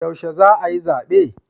Yaushe za a yi zabe?